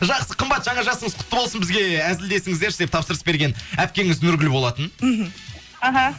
жақсы қымбат жаңа жасыңыз құтты болсын бізге әзілдесіңіздерші деп тапсырыс берген әпкеңіз нұргүл болатын мхм аха